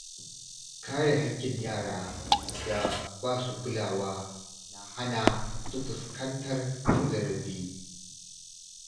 Kare haƙƙin yara da basu kulawa na hana su fuskantar cin zarafi.